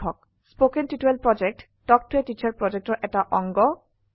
কথন শিক্ষণ প্ৰকল্প তাল্ক ত a টিচাৰ প্ৰকল্পৰ এটা অংগ